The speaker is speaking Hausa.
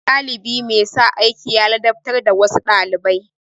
Ɗalibi mai sa aiki ya ladabtar da wasu ɗalibai.